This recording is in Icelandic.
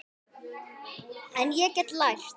En ég get lært.